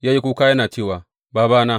Ya yi kuka yana cewa, Babana!